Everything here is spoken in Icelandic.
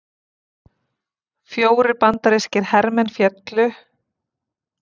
Fjórir bandarískir hermenn féllu